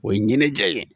O ye ɲɛnajɛ ye